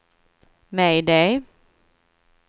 mayday